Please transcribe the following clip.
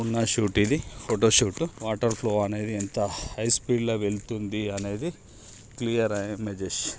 ఉన్న ఘాట్ ఇది photo ghat water flow అనేది ఎంత హై స్పీడ్ లో వెళ్తుంది అనేది --